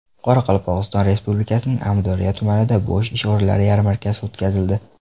Qoraqalpog‘iston Respublikasining Amudaryo tumanida bo‘sh ish o‘rinlari yarmarkasi o‘tkazildi.